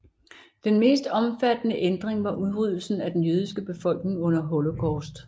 Den mest omfattende ændring var udryddelsen af den jødiske befolkning under Holocaust